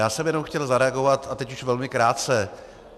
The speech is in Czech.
Já jsem jenom chtěl zareagovat, a teď už velmi krátce.